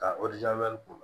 Ka